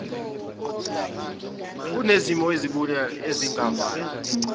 kunezimo ezibucayi ezingavela